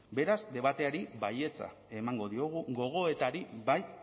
beraz debateari baietza emango diogu gogoetari bai